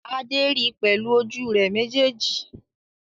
Adé ri pẹ̀lú ojú rẹ̀ méjèèjì